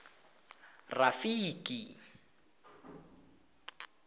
rafiki